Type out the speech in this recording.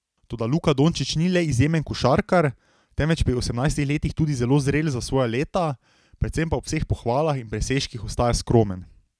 Toda Luka Dončić ni le izjemen košarkar, temveč pri osemnajstih letih tudi zelo zrel za svoja leta, predvsem pa ob vseh pohvalah in presežkih ostaja skromen.